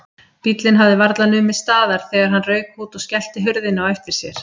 Bíllinn hafði varla numið staðar þegar hann rauk út og skellti hurðinni á eftir sér.